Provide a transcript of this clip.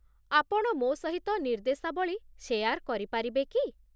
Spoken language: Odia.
ଆପଣ ମୋ ସହିତ ନିର୍ଦ୍ଦେଶାବଳୀ ଶେୟାର୍ କରିପାରିବେ କି?